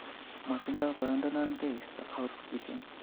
Motindo boyondonon tekisto ot kiten